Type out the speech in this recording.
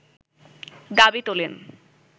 দাবি তোলেন